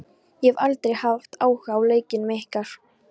Ég hef aldrei haft áhuga á leikjunum ykkar.